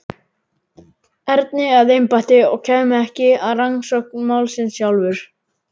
Erni að embætti og kæmi ekki að rannsókn málsins sjálfur.